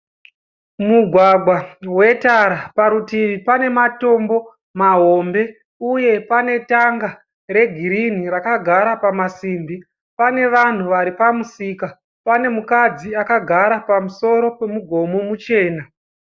Mugwagwa wetara. Parutivi pane matombo mahombe uye pane tanga regirinhi rakagara pamasimbi. Pane vanhu vari pamusika. Pane mukadzi akagara pamusoro pomugomo muchena.